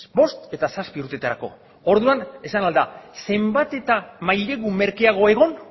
bost eta zazpi urteetarako orduan esan ahal da zenbat eta mailegu merkeago egon